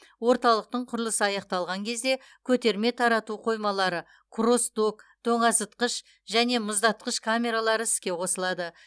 орталықтың құрылысы аяқталған кезде көтерме тарату қоймалары кросс док тоңазытқыш және мұздатқыш камералары іске қосылады